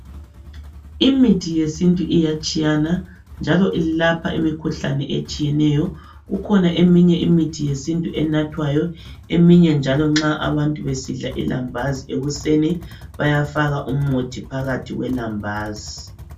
Imithi yesintu iyatshiyana ,njalo ilapha imikhuhlane etshiyeneyo. Kukhona eminye imithi yesintu enathwayo. Eminye njalo nxa abantu besidla ilambazi ekuseni bayafaka umuthi phakathi kwelambazi.